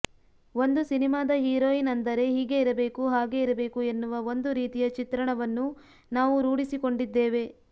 ಒಂದು ಸಿನಿಮಾದ ಹೀರೋಯಿನ್ ಅಂದರೆ ಹೀಗೆ ಇರಬೇಕು ಹಾಗೇ ಇರಬೇಕು ಎನ್ನುವ ಒಂದು ರೀತಿಯ ಚಿತ್ರಣವನ್ನು ನಾವು ರೂಢಿಸಿಕೊಂಡಿದ್ದೇವೆ